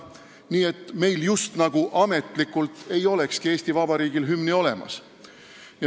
Nii et Eesti Vabariigil ei olegi just nagu ametlikult hümni olemas.